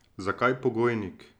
Zakaj pogojnik?